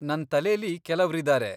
ನನ್ ತಲೆಲಿ ಕೆಲವ್ರಿದಾರೆ.